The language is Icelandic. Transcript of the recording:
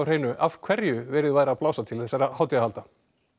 af hverju við værum að blása til þessara hátíðahalda